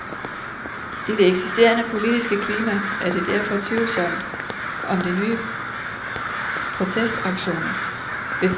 I det eksisterende politiske klima er det derfor tvivlsomt om de nye protestaktioner vil få nogen effekt.